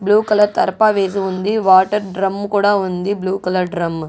Blue colour తార్పా వేసి ఉంది వాటర్ డ్రమ్ము కూడా ఉంది బ్లూ కలర్ డ్రమ్ము .